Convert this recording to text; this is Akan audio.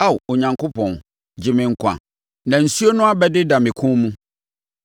Ao Onyankopɔn, gye me nkwa na nsuo no abɛdeda me kɔn mu.